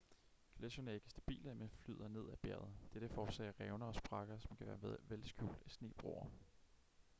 gletscherne er ikke stabile men flyder ned ad bjerget dette forårsager revner og sprækker som kan være vel skjult af snebroer